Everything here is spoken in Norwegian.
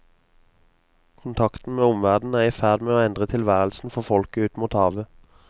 Kontakten med omverdenen er i ferd med å endre tilværelsen for folket ut mot havet.